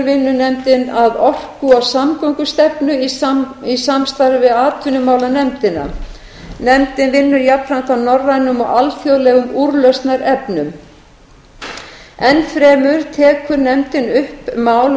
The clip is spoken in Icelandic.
vinnur nefndin að orku og samgöngustefnu í samstarfi við atvinnumálanefndina nefndin vinnur jafnframt að norrænum og alþjóðlegum úrlausnarefnum enn fremur tekur nefndin upp mál